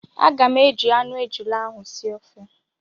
Aga m eji anụ ejula ahụ sie ofe